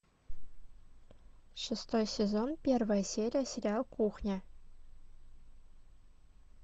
шестой сезон первая серия сериал кухня